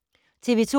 TV 2